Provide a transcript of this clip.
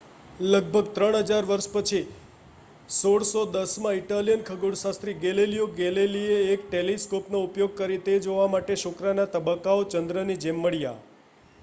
લગભગ ત્રણ હજાર વર્ષ પછી 1610 માં ઇટાલિયન ખગોળશાસ્ત્રી ગેલીલિયો ગેલીલીએ એક ટેલિસ્કોપનો ઉપયોગ કરીને તે જોવા માટે શુક્રના તબક્કાઓ ચંદ્રની જેમ મળ્યા